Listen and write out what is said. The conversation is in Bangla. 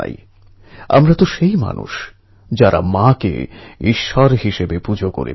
ছোটোবেলার বন্ধুত্ব অমূল্য